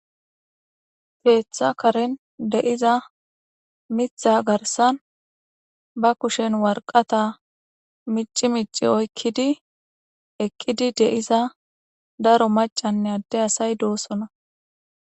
Keeththa karin de7iza mitha garsan ba kushen warqata mici mici oykkidi ekkidi de7iza daro macanne adde asay doosona